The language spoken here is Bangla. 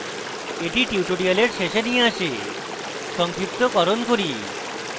এটি tutorial শেষে নিয়ে আসে সংক্ষিপ্তকরণ করি